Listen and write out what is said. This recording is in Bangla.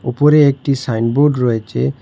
উপরে একটি সাইনবোর্ড রয়েছে।